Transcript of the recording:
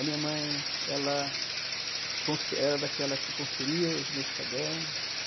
A minha mãe, ela confe era daquela que conferia os meus cadernos.